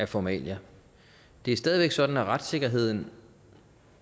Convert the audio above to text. formalia det er stadig væk sådan at retssikkerheden